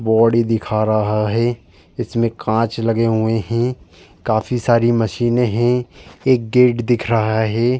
Body दिखा रहा है। इसमें कांच लगे हुए हैं काफी सारी मशीने हैं। एक गेट दिख रहा है।